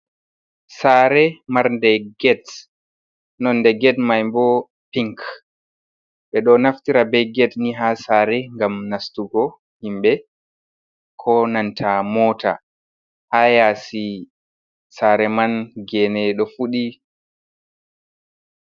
Saare marde get, nonde get maiboo, pink ɓe ɗoo naftira be get ni ha saare gam nastugo himbee ko nanta moota, ha yasi saare man genee ɗo fuuɗi.